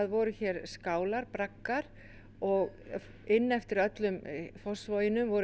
voru skálar eða braggar inn eftir öllu Fossvoginum voru